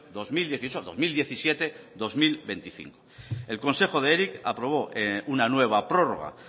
dos mil dieciocho dos mil diecisiete bi mila hogeita bost el consejo de eric aprobó una nueva prórroga